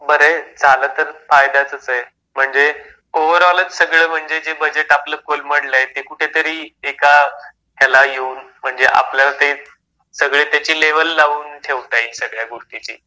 बरय झालं तर फायद्याचंच आहे. म्हणजे ओव्हर ऑलच सगळं म्हणजे जे बजेट आपलं कोलमडलय ते कुठेतरी एका ह्याला येऊन म्हणजे आपलं ते सगळे त्याची लेव्हल लावून ठेवता येईल सगळ्या गोष्टीची.